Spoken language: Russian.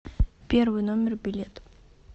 первый номер билет